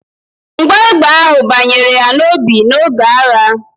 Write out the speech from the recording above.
Mgbọ egbe ahụ banyere ya n'obi n'oge agha